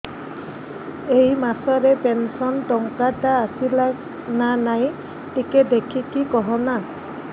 ଏ ମାସ ରେ ପେନସନ ଟଙ୍କା ଟା ଆସଲା ନା ନାଇଁ ଟିକେ ଦେଖିକି କହନା